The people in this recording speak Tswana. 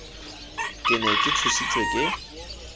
ke ne ke tshositswe ke